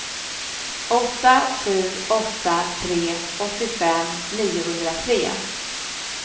åtta sju åtta tre åttiofem niohundratre